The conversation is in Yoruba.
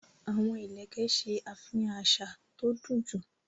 Àwọn ìlẹ̀kẹ̀ ṣe àfihàn àṣà tó dunjú